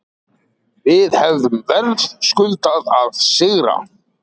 Við hefðum verðskuldað að sigra